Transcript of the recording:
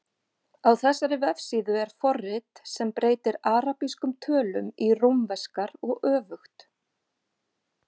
Á þessari vefsíðu er forrit sem breytir arabískum tölum í rómverskar og öfugt.